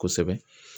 Kosɛbɛ